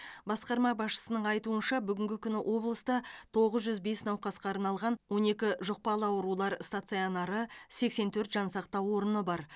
басқарма басшысының айтуынша бүгінгі күні облыста тоғыз жүз бес науқасқа арналған огн екі жұқпалы аурулар станционары сексен төрт жансақтау орны бар